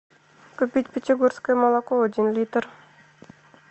купить петербургское молоко один литр